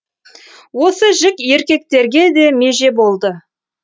осы жік еркектерге де меже болды